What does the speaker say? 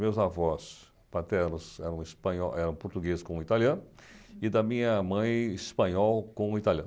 Meus avós paternos eram espanho portugueses com italiano e da minha mãe espanhol com italiano.